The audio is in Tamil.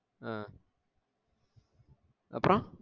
ஆஹ் அப்பறோம்